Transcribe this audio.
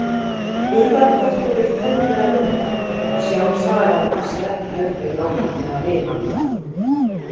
Urðarköttur er tæplega Linda og sjálf sagan passar ekki heldur nákvæmlega við hana.